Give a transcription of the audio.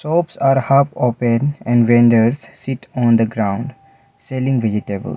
shops are half open and vendors sit on the ground selling vegetable.